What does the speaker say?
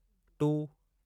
two